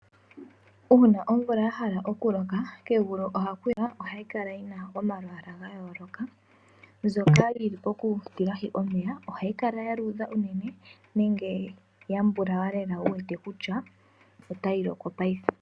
Uuna omvula yahala oku loka kegulu iikogo ohayi kala yina omalwaala ga yooloka. Mbyoka yili poku tilahi omeya ohayi kala ya luudha unene nenge ya mbulawula lela wu wete kutya otayi loko paife.